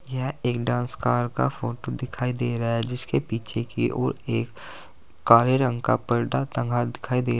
यह एक dance car का फोटो दिखाई दे रहा है जिसके पीछे की ओर एक काले रंग का पर्दा टंगा दिखाई दे रहा--